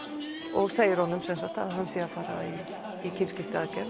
og segir honum að hann sé að fara í kynskiptiaðgerð